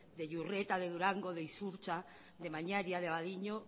de iurreta de durango de izurtza de mañaria de abadiño